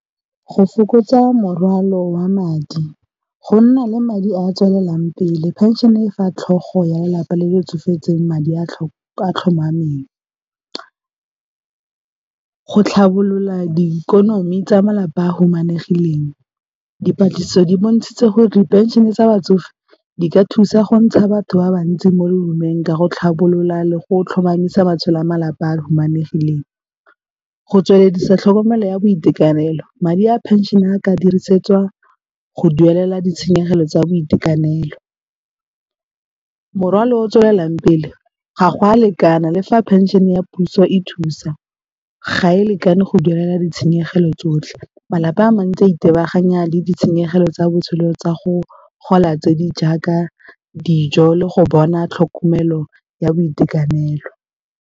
Go fokotsa morwalo wa madi, go nna le madi a tswelelang pele pension-e fa tlhogo ya lelapa le le tsofetseng madi a a tlhomameng, go tlhabolola diikonomi tsa malapa a humanegileng. Dipatlisiso di bontshitse gore diphenšene tsa batsofe di ka thusa go ntsha batho ba bantsi mo bohumeng ka go tlhabolola le go tlhomamisa matshelo a malapa a humanegileng. Go tsweleledisa tlhokomelo ya boitekanelo madi a pension a ka dirisetswa go duelela ditshenyegelo tsa boitekanelo, morwalo tswelelang pele ga go a lekana le fa pension ya puso e thusa ga e lekane go duela ditshenyegelo tsotlhe, malapa a mantsi itebaganya le ditshenyegelo tsa botshelo tsa go gola tse di jaaka dijo le go bona tlhokomelo ya boitekanelo.